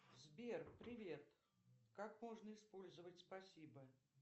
сбер привет как можно использовать спасибо